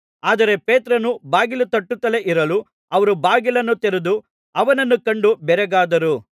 ಆದರೆ ಪೇತ್ರನು ಬಾಗಿಲು ತಟ್ಟುತ್ತಲೇ ಇರಲು ಅವರು ಬಾಗಿಲನ್ನು ತೆರೆದು ಅವನನ್ನು ಕಂಡು ಬೆರಗಾದರು